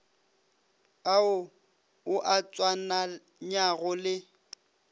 ao o a tswalanyago le